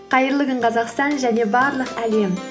қайырлы күн қазақстан және барлық әлем